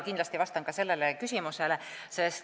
Kindlasti vastan ka sellele küsimusele.